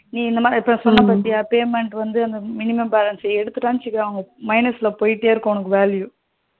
நீ இந்த மாரி இப்போ சொன்ன பத்தியா payment வந்து minimum balance எடுத்துட்டான்னு வச்சிகோயே minus ல போயிட்டே இருக்கும் உனக்கு value